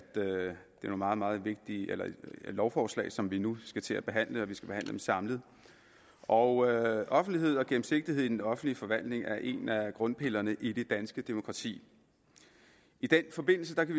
det er nogle meget meget vigtige lovforslag som vi nu skal til at behandle og at de skal behandles samlet og offentlighed og gennemsigtighed i den offentlige forvaltning er en af grundpillerne i det danske demokrati i den forbindelse kan vi